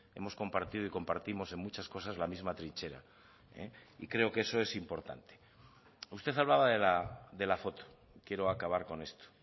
hemos compartido y compartimos en muchas cosas la misma trinchera y creo que eso es importante usted hablaba de la foto quiero acabar con esto